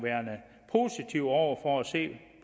positiv over for at se